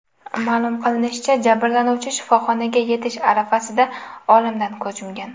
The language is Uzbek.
Ma’lum qilinishicha, jabrlanuvchi shifoxonaga yetish arafasida olamdan ko‘z yumgan.